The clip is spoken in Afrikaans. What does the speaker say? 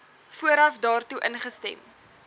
vooraf daartoe ingestem